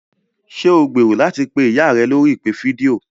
Ṣé o gbèrò láti pé ìyá rẹ lórí ìpè fídíò?